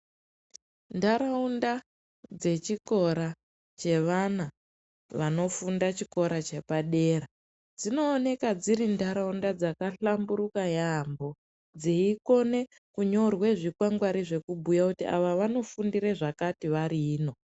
Ndaraunda dzechikoro cheevana vanofunda chikora chepadera dzinooneka dziri nharaunda dzahlamburuka yaambo dzeikona kunyorwa zvikwangwari zvinobhuye kuti awa wanofundire zvakati wari ino.